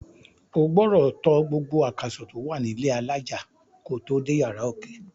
O gbodò to gbogbo àkàsò tó wà nílẹ́ alájà kó tò dé yàrá òkè.